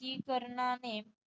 की करणाने